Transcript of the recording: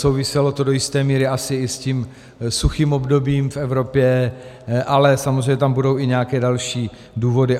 Souviselo to do jisté míry asi i s tím suchým obdobím v Evropě, ale samozřejmě tam budou i nějaké další důvody.